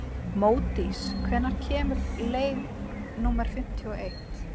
Módís, hvenær kemur leið númer fimmtíu og eitt?